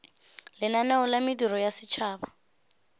lenaneo la mediro ya setšhaba